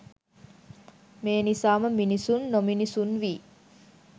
මේ නිසාම මිනිසුන් නොමිනිසුන් වී